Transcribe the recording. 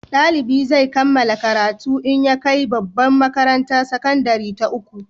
Dalibi zai kammala karatu in ya kai babbar makarantar sakandare ta uku